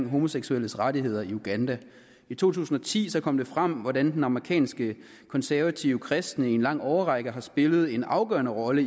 homoseksuelles rettigheder i uganda i to tusind og ti kom det frem hvordan amerikanske konservative kristne i en lang årrække har spillet en afgørende rolle